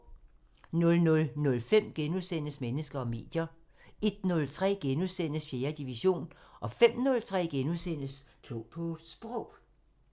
00:05: Mennesker og medier * 01:03: 4. division * 05:03: Klog på Sprog *